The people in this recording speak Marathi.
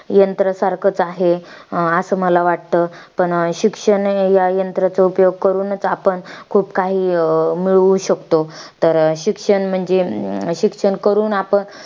त्यामुळे आज या भारत देशातील शेतकरी आनंदी आहेत ऊन ,थंडी ,पाऊस कशाचीही परवा न करता काबाडकष्ट करून मेहनत करून तो शेतात राब राब राबतो.